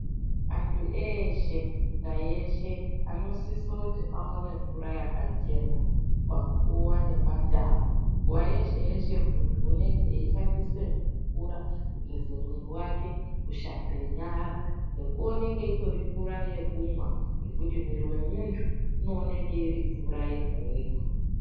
Antu eshe, munyika yeshe anosisoti aone mvura yakachena, panguwa nepandau. Nguwa yeshe-yeshe muntu unenge eishandise mvura kugeze mwiri wake, kushambe nyara nekuoneke itori mvura yekumwa ngekuti mwiri wemuntu inooneke irimvura yega-yega.